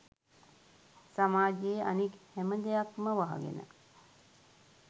සමාජයේ අනික් හැම දෙයක්ම වහගෙන.